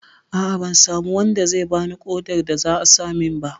A'a, ban samu wanda zai bani ƙodar da za a dasa min ba.